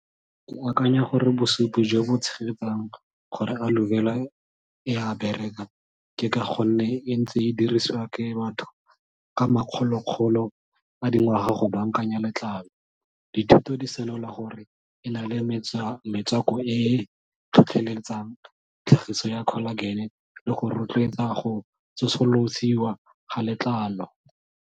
Ke akanya gore bosupi jo bo tshegetsang gore a aloe vera e a bereka, ke ka gonne e ntse e dirisiwa ke batho ka makgolo makgolo a dingwaga go bankanya letlalo. Dithuto di senola gore e na le metswako e e tlhotlheletsang tlhagiso ya collagen le go rotloetsa go tsosolosiwa ga letlalo.